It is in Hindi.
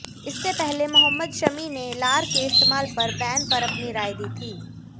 इससे पहले मोहम्मद शमी ने लार के इस्तेमाल पर बैन पर अपनी राय दी थी